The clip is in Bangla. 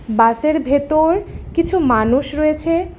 বাসের ভেতর কিছু মানুষ রয়েছে।